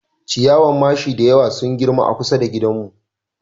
Ciyawan mashi da yawa sun girma a kusa da gidanmu